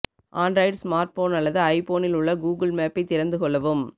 Android smartphone அல்லது ஐபோனில் உள்ள கூகுள் மேப்பை திறந்து கொள்ளவும்